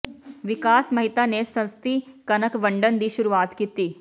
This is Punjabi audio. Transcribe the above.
ਵਿਕਾਸ ਮਹਿਤਾ ਨੇ ਸਸਤੀ ਕਣਕ ਵੰਡਣ ਦੀ ਸ਼ੁਰੂਆਤ ਕੀਤੀ